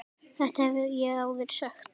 Þetta hef ég áður sagt.